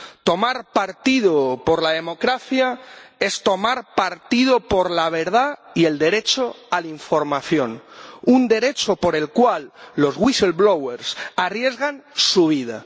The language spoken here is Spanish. Tomar partido por la democracia es tomar partido por la verdad y el derecho a la información, un derecho por el cual los whistleblowers arriesgan su vida.